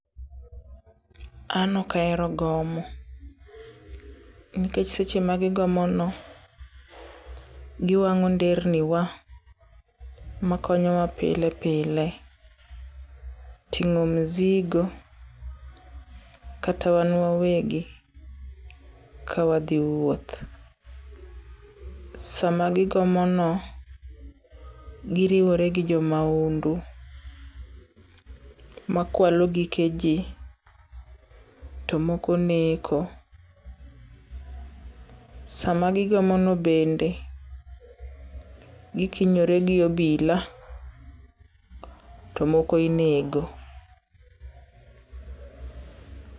An ok ahero gomo, nikech seche ma gigomono, giwang'o nder ni wa makonyowa pile pile, ting'o misigo kata wan wawegi ka wadhi wuoth. Sama gigomono, giriwore gi jo mahundu makwalo gike ji to moko neko. Sama gigomono bende gikwinyore gi obila, to moko inego.